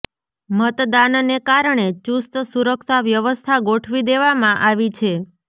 મતદાનને કારણે ચુસ્ત સુરક્ષા વ્યવસ્થા ગોઠવી દેવામાં આવી છે